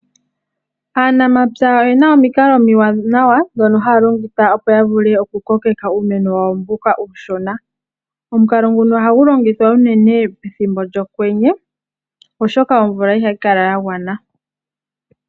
Aanamapya oyena omikalo omiwanawa ndhono haya longitha opo ya vule oku kokeka uumeno wawo mbono uushona. Omukalo nguno ohagu longithwa unene pethimbo lyokwenye oshoka omvula ihayi kala ya gwana.